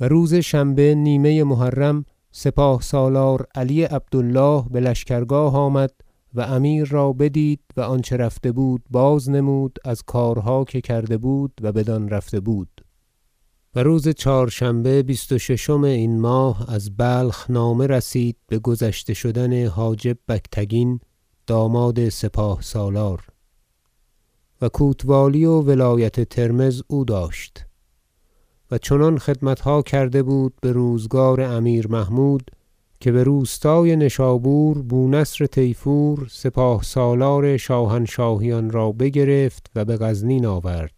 و روز شنبه نیمه محرم سپاه سالار علی عبد الله بلشکرگاه آمد و امیر را بدید و آنچه رفته بود بازنمود از کارها که کرده بود و بدان رفته بود و روز چهارشنبه بیست و ششم این ماه از بلخ نامه رسید بگذشته شدن حاجب بگتگین داماد سپاه سالار و کوتوالی و ولایت ترمذ او داشت و چنان خدمتها کرده بود بروزگار امیر محمود که بروستای نشابور بونصر طیفور سپاه سالار شاهنشاهیان را بگرفت و بغزنین آورد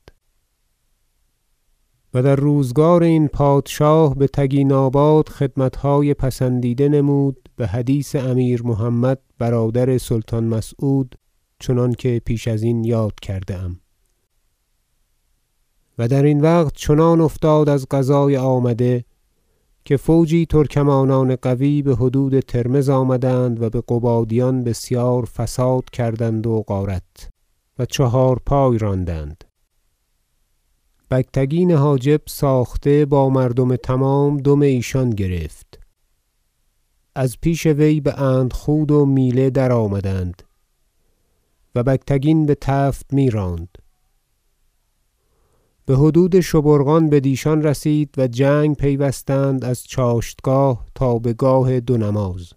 و در روزگار این پادشاه بتگیناباد خدمتهای پسندیده نمود بحدیث امیر محمد برادر سلطان مسعود چنانکه پیش ازین یاد کرده ام و درین وقت چنان افتاد از قضای آمده که فوجی ترکمانان قوی بحدود ترمذ آمدند و بقبادیان بسیار فساد کردند و غارت و چهارپای راندند بگتگین حاجب ساخته با مردم تمام دم ایشان گرفت از پیش وی به اندخود و میله درآمدند و بگتگین بتفت میراند بحدود شبورقان بدیشان رسید و جنگ پیوستند از چاشتگاه تا بگاه دو نماز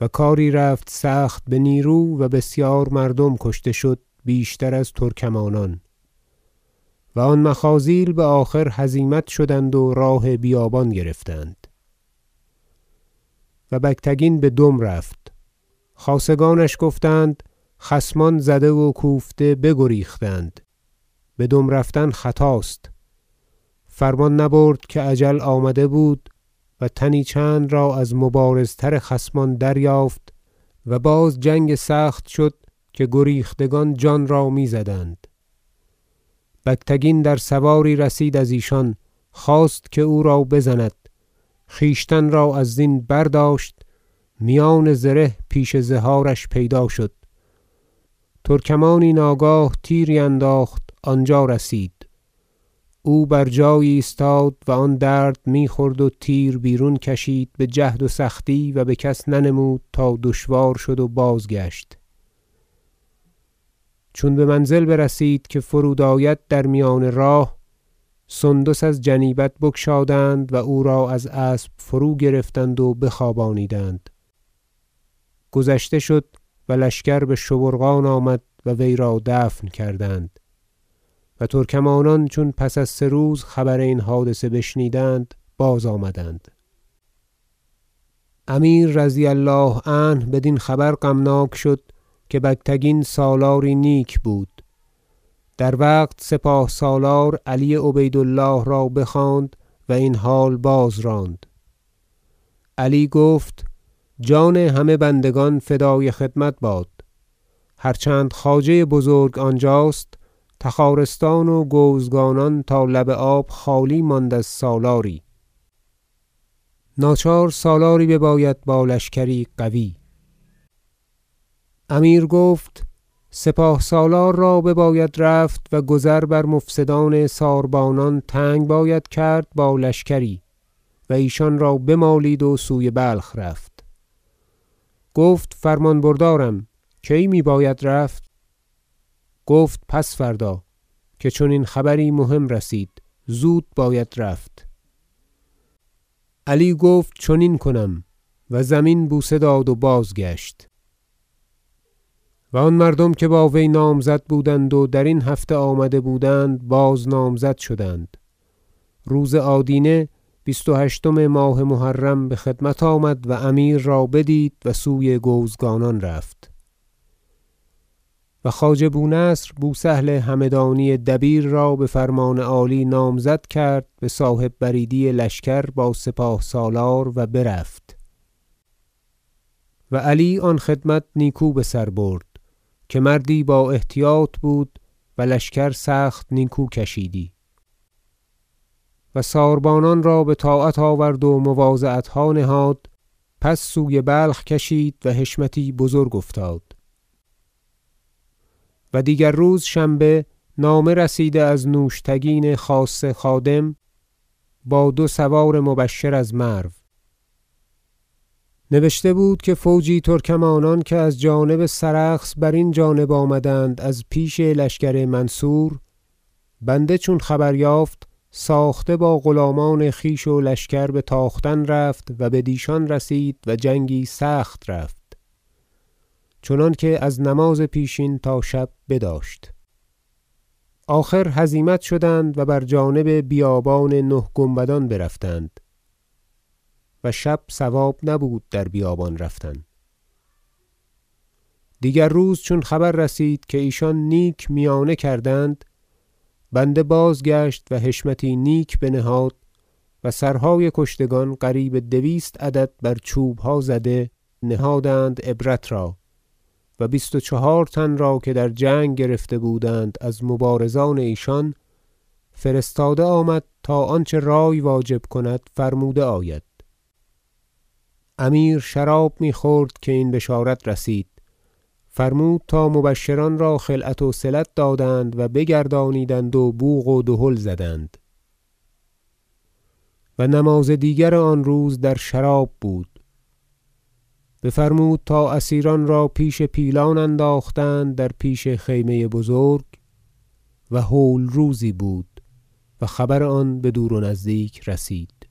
و کاری رفت سخت بنیرو و بسیار مردم کشته شد بیشتر از ترکمانان و آن مخاذیل بآخر هزیمت شدند و راه بیابان گرفتند و بگتگین بدم رفت خاصگانش گفتند خصمان زده و کوفته بگریختند بدم رفتن خطاست فرمان نبرد که اجل آمده بود و تنی چند را از مبارزتر خصمان دریافت و باز جنگ سخت شد که گریختگان جان را میزدند بگتگین در سواری رسید از ایشان خواست که او را بزند خویشتن را از زین برداشت میان زره پیش زهارش پیدا شد ترکمانی ناگاه تیری انداخت آنجا رسید او بر جای بایستاد و آن درد میخورد و تیر بیرون کشید بجهد و سختی و بکس ننمود تا دشوار شد و بازگشت چون بمنزل برسید که فرود آید در میان راه سندس از جنیبت بگشادند و او را از اسب فرود گرفتند و بخوابانیدند گذشته شد و لشکر بشبورقان آمد و وی را دفن کردند و ترکمانان چون پس از سه روز خبر این حادثه بشنیدند بازآمدند امیر رضی الله عنه بدین خبر غمناک شد که بگتگین سالاری نیک بود در وقت سپاه سالار علی عبید الله را بخواند و این حال بازراند علی گفت جان همه بندگان فدای خدمت باد هر چند خواجه بزرگ آنجاست تخارستان و گوزگانان تا لب آب خالی ماند از سالاری ناچار سالاری بباید با لشکری قوی امیر گفت سپاه سالار را بباید رفت و گذر بر مفسدان ساربانان تنگ باید کرد با لشکری و ایشان را بمالید و سوی بلخ رفت گفت فرمان بردارم کی میباید رفت گفت پس فردا که چنین خبری مهم رسید زود باید رفت علی گفت چنین کنم و زمین بوسه داد و بازگشت و آن مردم که با وی نامزد بودند و درین هفته آمده بودند باز نامزد شدند روز آدینه بیست و هشتم ماه محرم بخدمت آمد و امیر را بدید و سوی گوزگانان رفت و خواجه بونصر بوسهل همدانی دبیر را بفرمان عالی نامزد کرد بصاحب بریدی لشکر با سپاه سالار و برفت و علی آن خدمت نیکو بسر برد که مردی با احتیاط بود و لشکر سخت نیکو کشیدی و ساربانان را بطاعت آورد و مواضعتها نهاد پس سوی بلخ کشید و حشمتی بزرگ افتاد و دیگر روز شنبه نامه رسید از نوشتگین خاصه خادم با دو سوار مبشر از مرو نبشته بود که فوجی ترکمانان که از جانب سرخس برین جانب آمدند از پیش لشکر منصور بنده چون خبر یافت ساخته با غلامان خویش و لشکر بتاختن رفت و بدیشان رسید و جنگی سخت رفت چنانکه از نماز پیشین تا شب بداشت آخر هزیمت شدند و بر جانب بیابان نه گنبدان برفتند و شب صواب نبود در بیابان رفتن دیگر روز چون خبر رسید که ایشان نیک میانه کردند بنده بازگشت و حشمتی نیک بنهاد و سرهای کشتگان قریب دویست عدد بر چوبها زده نهادند عبرت را و بیست و چهار تن را که در جنگ گرفته بودند از مبارزان ایشان فرستاده آمد تا آنچه رای واجب کند فرموده آید امیر شراب میخورد که این بشارت رسید فرمود تا مبشران را خلعت وصلت دادند و بگردانیدند و بوق و دهل زدند و نماز دیگر آن روز در شراب بود بفرمود تا اسیران را پیش پیلان انداختند در پیش خیمه بزرگ و هول روزی بود و خبر آن بدور و نزدیک رسید